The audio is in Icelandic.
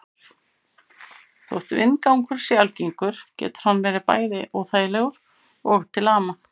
Þótt vindgangur sé algengur getur hann verið bæði óþægilegur og til ama.